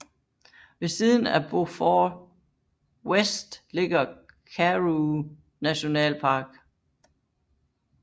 Ved siden af Beaufort West ligger Karoo nationalpark